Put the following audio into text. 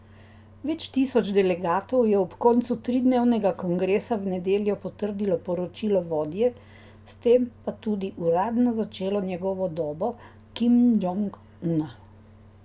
Več tisoč delegatov je ob koncu tridnevnega kongresa v nedeljo potrdilo poročilo vodje, s tem pa tudi uradno začelo njegovo dobo Kim Džong Una.